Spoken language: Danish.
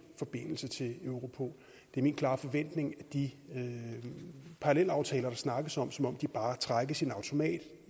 forbindelse til europol det er min klare forventning at de parallelaftaler der snakkes om som om de bare trækkes i en automat